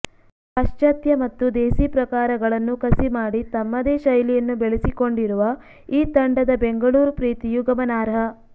ಪಾಶ್ಚಾತ್ಯ ಮತ್ತು ದೇಸೀ ಪ್ರಕಾರಗಳನ್ನು ಕಸಿ ಮಾಡಿ ತಮ್ಮದೇ ಶೈಲಿಯನ್ನು ಬೆಳೆಸಿಕೊಂಡಿರುವ ಈ ತಂಡದ ಬೆಂಗಳೂರು ಪ್ರೀತಿಯೂ ಗಮನಾರ್ಹ